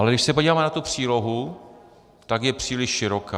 Ale když se podíváme na tu přílohu, tak je příliš široká.